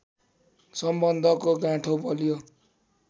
सम्बन्धको गाँठो बलियो